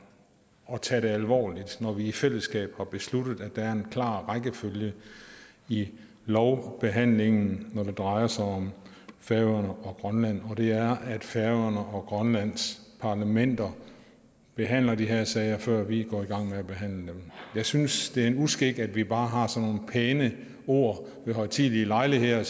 at tage det alvorligt når vi i fællesskab har besluttet at der skal være en klar rækkefølge i lovbehandlingen når det drejer sig om færøerne og grønland og det er at færøerne og grønlands parlamenter behandler de her sager før vi går i gang med at behandle dem jeg synes det er en uskik at vi bare har sådan pæne ord ved højtidelige lejligheder